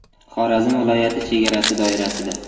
Xorazm viloyati chegarasi doirasida.